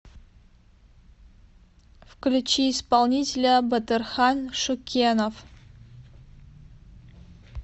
включи исполнителя батырхан шукенов